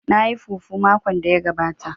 Na yi fufu makon da ya gabata